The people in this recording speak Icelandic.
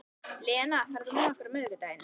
Lena, ferð þú með okkur á miðvikudaginn?